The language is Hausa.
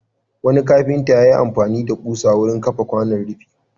Wani kafinta ya yi amfani da ƙusa wurin kafa kwanan rufi.